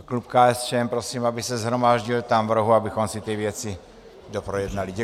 A klub KSČM prosím, aby se shromáždil tam v rohu, abychom si ty věci doprojednali.